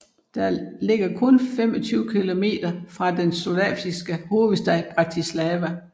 Den ligger kun 25 kilometer fra den slovakiske hovedstad Bratislava